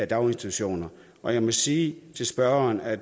daginstitutioner og jeg må sige til spørgeren at